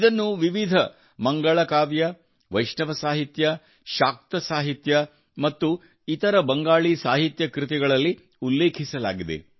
ಇದನ್ನು ವಿವಿಧ ಮಂಗಳಕಾವ್ಯ ವೈಷ್ಣವ ಸಾಹಿತ್ಯ ಶಾಕ್ತ ಸಾಹಿತ್ಯ ಮತ್ತು ಇತರ ಬಂಗಾಳಿ ಸಾಹಿತ್ಯ ಕೃತಿಗಳಲ್ಲಿ ಉಲ್ಲೇಖಿಸಲಾಗಿದೆ